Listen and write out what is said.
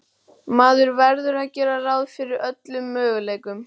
Maður verður að gera ráð fyrir öllum möguleikum.